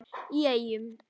í Eyjum.